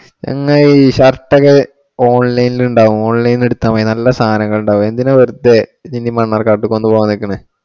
പിന്നെ ഈ shirt ഒക്കെ online ഇൽ ഉണ്ടാവും online എടുത്തോ മതി. നല്ല സാധനങ്ങൾ ഉണ്ടാവും എന്തിനാ വെറുതെ ഇനി മണ്ണാർകാട്ട് കൊണ്ടുപോകാൻ നിക്കണേ